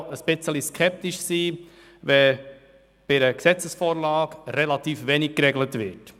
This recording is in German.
Grundsätzlich gilt es skeptisch zu sein, wenn in einer Gesetzesvorlage relativ wenig geregelt wird.